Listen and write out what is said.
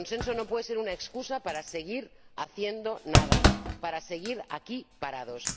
Pero el consenso no puede ser una excusa para seguir haciendo nada, para seguir aquí parados.